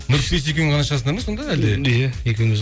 нұрпейіс екеуің ғана шығасыңдар ма сонда әлде иә екеуіміз